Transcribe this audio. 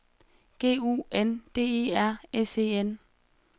G U N D E R S E N